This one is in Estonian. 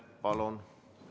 Palun!